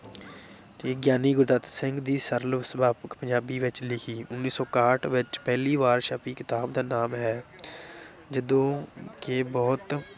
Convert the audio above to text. ਤੇ ਗਿਆਨੀ ਗੁਰਦੱਤ ਸਿੰਘ ਦੀ ਸਰਲ ਸੁਭਾਵਿਕ ਪੰਜਾਬੀ ਵਿੱਚ ਲਿਖੀ ਉੱਨੀ ਸੌ ਇਕਾਹਠ ਵਿੱਚ ਪਹਿਲੀ ਵਾਰ ਛਪੀ ਕਿਤਾਬ ਦਾ ਨਾਮ ਹੈ ਜਦੋਂ ਕਿ ਬਹੁਤ